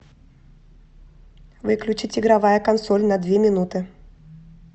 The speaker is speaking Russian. выключить игровая консоль на две минуты